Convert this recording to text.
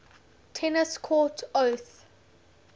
tennis court oath